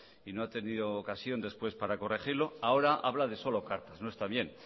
y no ha tenido ocasión después para corregirlo ahora habla de solo cartas no está bien